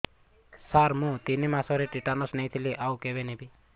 ସାର ମୁ ତିନି ମାସରେ ଟିଟାନସ ନେଇଥିଲି ଆଉ କେବେ ନେବି